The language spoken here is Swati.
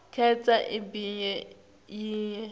khetsa ibe yinye